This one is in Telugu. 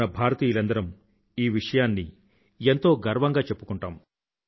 మన భారతీయులందరం ఈ విషయాన్ని ఎంతో గర్వంగా చెప్పుకుంటాము